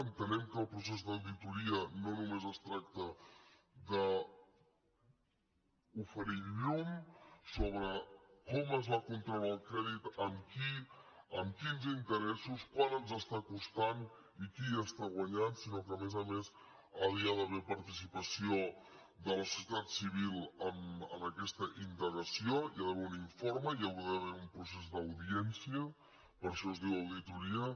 entenem que el procés d’auditoria no només es tracta d’oferir llum sobre com es va contraure el crèdit amb qui amb quins interessos quant ens està costant i qui hi està guanyant sinó que a més a més hi ha d’haver participació de la societat civil en aquesta indagació hi ha d’haver un informe hi ha d’haver un procés d’audiència per això es diu auditoria